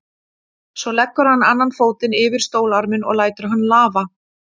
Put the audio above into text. Svo leggur hann annan fótinn yfir stólarminn og lætur hann lafa.